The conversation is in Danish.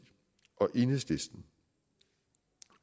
og enhedslisten